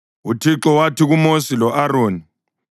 UThixo wathi kuMosi lo-Aroni: